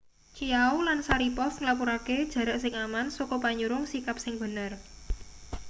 chiao lan sharipov nglapurake jarak sing aman saka panyurung sikap sing bener